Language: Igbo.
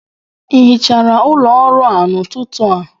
Ị hichara ụlọ ọrụ a n'ụtụtụ a?